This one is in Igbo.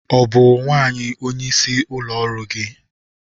Ọ bụ nwanyị onye isi ụlọ ọrụ gị?